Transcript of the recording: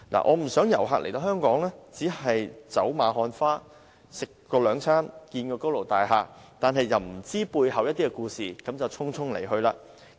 我不想遊客來到香港只是走馬看花，吃兩頓飯，看看高樓大廈，卻不知道香港背後的故事便匆匆離去。